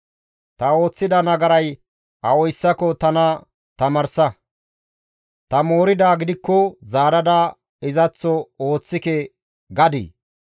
Ta ooththida nagaray awayssako tana tamaarsa; ta mooridaa gidikko zaarada izaththo ooththike! gadii?